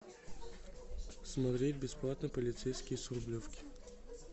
смотреть бесплатно полицейский с рублевки